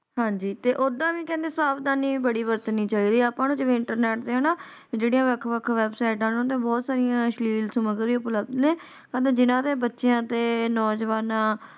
ਹਾਂਜੀ ਤੇ ਓਹਦਾ ਵੀ ਕਹਿੰਦੇ ਸਾਵਧਾਨੀ ਬੜੀ ਬਰਤਨਿ ਚਾਈਏ ਅੱਪਾ ਨੂੰ ਜਿਵੇ internet ਤੇ ਨਾ ਜੇੜੇ ਵੱਖ-ਵੱਖ ਉਹਨਾਂ ਤੇ ਬਹੁਤ ਸਾਈਆਂ ਅਸ਼ਲੀਲ ਸਾਮਗਰੀਆਂ ਜਿੰਨਾ ਦੇ ਬੱਚਿਆਂ ਤੇ ਨੌਜਵਾਨਾਂ